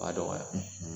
A b'a dɔgɔya